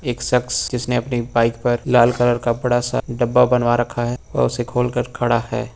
एक शख्स जिसने अपनी बाइक पर लाल कलर कपड़ा सा डब्बा बनवा रखा है वह उसे खोलकर खड़ा है।